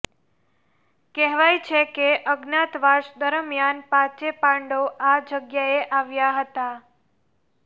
કહેવાય છે કે અજ્ઞાતવાસ દરમિયાન પાંચે પાંડવો આ જગ્યાએ આવ્યા હતા